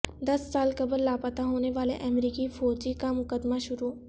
دس سال قبل لاپتا ہونے والے امریکی فوجی کا مقدمہ شروع